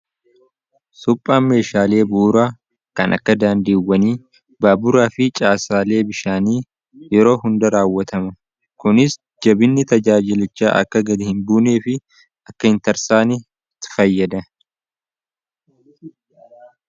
suphaa meeshaalee buuraa kan akka daandiiwwanii baaburaa fi caasaalee bishaanii yeroo hunda raawwatama kunis jabinni tajaajilechaa akka gadi hin buunee fi akka hin tarsaanii fayyada